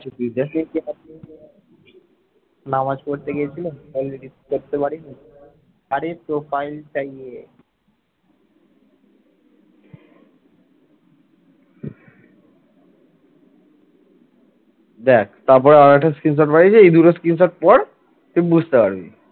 দেখ তারপর আর একটা screenshot পাঠিয়েছি এই দুটো screenshot পড় তাহলে বুঝতে পারবি।